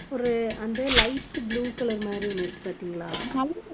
ஒரு அந்த light blue color மாதிரி ஒண்ணு இருக்கு பார்த்தீங்களா